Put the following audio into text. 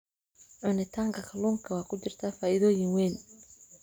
cunitanka kallunka wa kujirta faidoyin weyn.